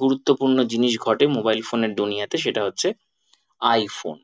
গুরুত্বপূর্ণ জিনিস ঘটে mobile phone এর তে সেটা হচ্ছে আই ফোন